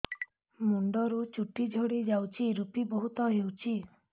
ମୁଣ୍ଡରୁ ଚୁଟି ଝଡି ଯାଉଛି ଋପି ବହୁତ ହେଉଛି